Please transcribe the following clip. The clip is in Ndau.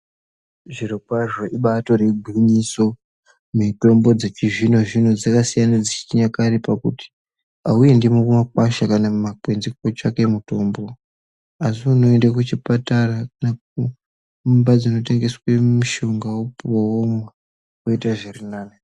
Zvirokwazvo ibatori gwinyiso, mitombo dzechizvino zvino dzakasiyana nedzechinyakare pakuti auendi kumakwasha kana kumakwenzi kotsvake mitombo asi unoende kuchipatara kana kuimba dzinotengeswe mushonga wopuwa womwa woite zvirinani.